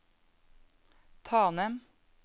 Tanem